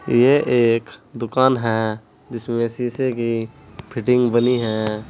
ये एक दुकान है जिसमें शीशे की फिटिंग बनी है।